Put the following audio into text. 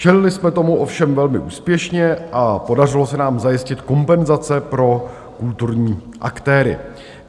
Čelili jsme tomu ovšem velmi úspěšně a podařilo se nám zajistit kompenzace pro kulturní aktéry.